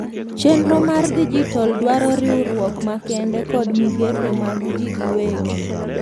chenro mar dijital dwaro riuruok makende kod migepe mag ji giwegi